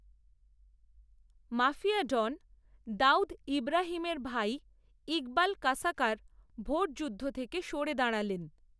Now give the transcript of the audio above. mafia don Dawood ইব্রাহিমের ভাই, ইকবাল কাসকার, ভোটযুদ্ধ থেকে সরে দাঁড়ালেন